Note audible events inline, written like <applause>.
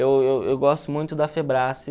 Eu eu eu gosto muito da <unintelligible>